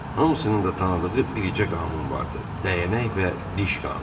Hamısının da tanıdığı biricə qanun vardı: Dəyənək və diş qanunu.